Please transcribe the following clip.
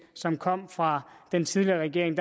som kom fra den tidligere regering